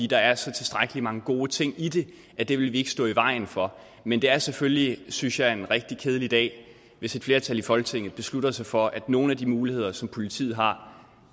der er så tilstrækkelig mange gode ting i det at det vil vi ikke stå i vejen for men det er selvfølgelig synes jeg en rigtig kedelig dag hvis et flertal i folketinget beslutter sig for at nogle af de muligheder som politiet har